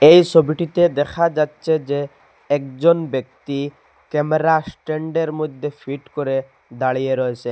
এই ছবিটিতে দেখা যাচ্ছে যে একজন ব্যক্তি ক্যামেরা স্ট্যান্ডের মইদ্যে ফিট করে দাঁড়িয়ে রয়েছেন।